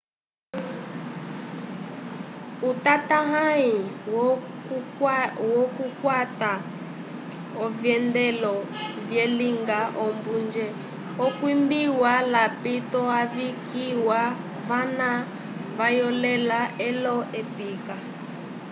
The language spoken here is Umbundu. utatahãyi wokukwata ovyendelo vyalinga ombunje okwimbiwa lapito ayikiwa vana vayolela olo-ekipa